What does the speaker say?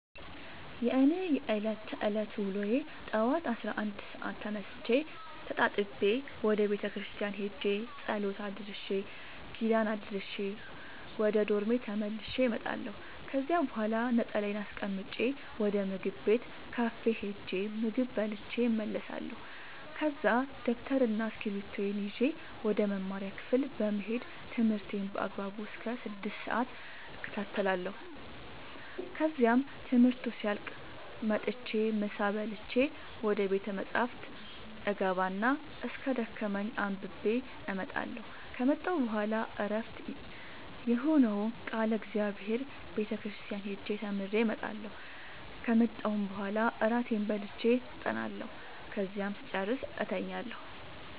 የእኔ የዕለት ተዕለት ውሎዬ ጠዋት አስራ አንድ ሰአት ተነስቼ ተጣጥቤ ወደ ቤተክርስቲያን ሄጄ ጸሎት አድርሼ ኪዳን አድርሼ ወደ ዶርሜ ተመልሼ እመጣለሁ ከዚያ በኋላ ነጠላዬን አስቀምጬ ወደ ምግብ ቤት ካፌ ሄጄ ምግብ በልቼ እመለሳለሁ ከዛ ደብተርና እስኪብርቶዬን ይዤ ወደ መማሪያ ክፍሌ በመሄድ ትምህርቴን በአግባቡ እስከ ስድስት ሰአት እከታተላለሁ ከዚያም ትምህርቱ ሲያልቅ መጥቼ ምሳ በልቼ ወደ ቤተ መፅሀፍ እገባ እና እስኪደክመኝ አንብቤ እመጣለሁ ከመጣሁ በኋላ ዕረፍት የሆነውን ቃለ እግዚአብሔር ቤተ ክርስቲያን ሄጄ ተምሬ እመጣለሁ ከመጣሁም በኋላ እራቴን በልቼ አጠናለሁ ከዚያም ስጨርስ እተኛለሁ።